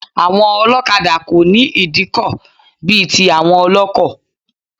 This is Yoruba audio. Àwọn ọlọ́kadà kò ní ìdíkọ̀ bí i tí àwọn ọlọ́kọ̀.